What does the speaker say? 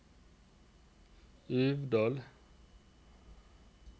Uvdal